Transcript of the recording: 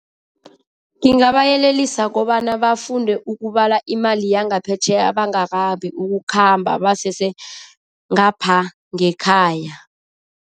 Ngingabayelelisa kobana bafunde ukubala imali yangaphetjheya bangakabi ukukhamba, basesengapha ngekhaya.